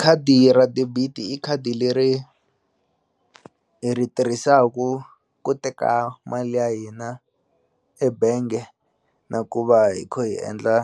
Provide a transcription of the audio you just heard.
Khadi ra debit-i i khadi leri hi ri tirhisaku ku teka mali ya hina ebenge na ku va hi khu hi endla